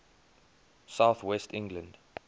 south west england